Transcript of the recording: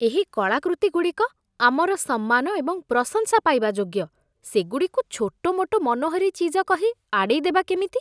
ଏହି କଳାକୃତିଗୁଡ଼ିକ ଆମର ସମ୍ମାନ ଏବଂ ପ୍ରଶଂସା ପାଇବା ଯୋଗ୍ୟ, ସେଗୁଡ଼ିକୁ ଛୋଟ ମୋଟ ମନୋହରୀ ଚିଜ କହି ଆଡ଼େଇ ଦେବା କେମିତି?